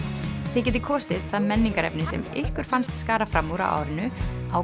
þið getið kosið það menningarefni sem ykkur fannst skara fram úr á árinu á